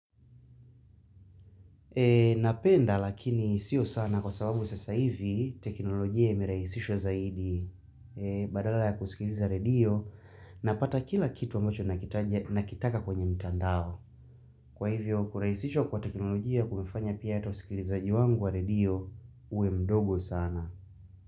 Napenda lakini sio sana kwa sababu sasa hivi teknolojia imerahisishwa zaidi badala ya kusikiliza radio napata kila kitu ambacho nakitaka kwenye mtandao. Kwa hivyo kurahisishwa kwa teknolojia kumefanya pia hata usikilizaji wangu wa radio uwe mdogo sana.